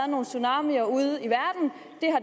nogle tsunamier ude